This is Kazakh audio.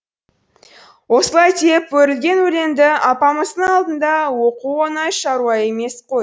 осылай деп өрілген өлеңді апамыздың алдында оқу оңай шаруа емес қой